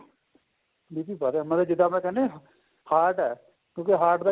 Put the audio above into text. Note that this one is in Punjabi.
BP ਵਧਿਆ ਵੀ ਜਿੱਦਾਂ ਆਪਾਂ ਕਹਿੰਦੇ ਆ heart ਏ ਕਿਉਂਕਿ heart ਦਾ